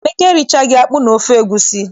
Emeka erichaghị akpụ na ofe egusi.